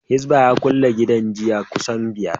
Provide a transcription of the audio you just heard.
Hisbah ya kulle gidan giya kusan biyar